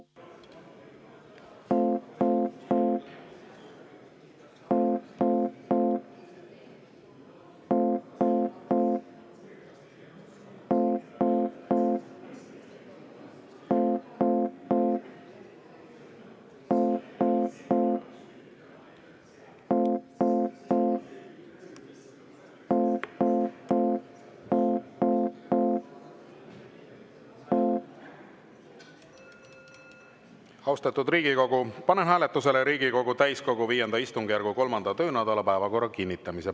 Austatud Riigikogu, panen hääletusele Riigikogu täiskogu V istungjärgu 3. töönädala päevakorra kinnitamise.